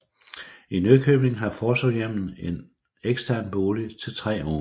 I Nykøbing har Forsorgshjemmet en ekstern bolig til tre unge